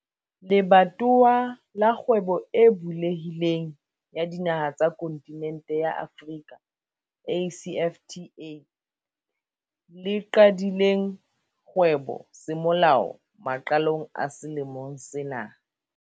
Le batowa la Kgwebo e Bulehi leng ya Dinaha tsa Kontinente ya Afrika, ACFTA, le qadileng kgwebo semolao maqalong a selemo sena.